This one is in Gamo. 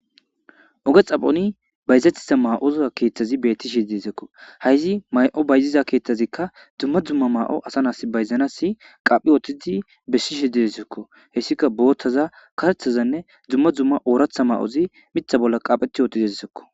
oge xaphoni bayzatita ma7oza keeththazi bettishe dezekko hayzi may7o bayziza keeththazikka dumma dzumma maa7o asa nas bayzanasi qaphi ootidi bessishe deesekko hessika boothtaza karthazanne dzumma dzumma ooratha ma7ozi mitha bolla qaapheti ootizezsekko